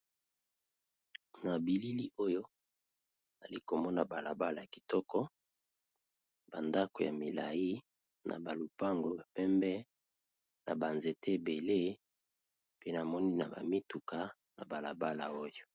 Na bilili oyo ali komona bala bala kitoko, ba ndako ya milayi na ba lupango pembe na ba nzete ebele pe na moni na ba mituka na bala bala oyo.